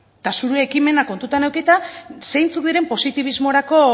eta zure ekimena kontutan edukita zeintzuk diren positibismorako